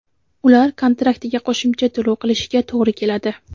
ular kontraktiga qo‘shimcha to‘lov qilishiga to‘g‘ri keladi.